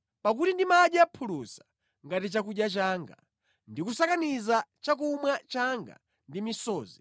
Pakuti ndimadya phulusa ngati chakudya changa ndi kusakaniza chakumwa changa ndi misozi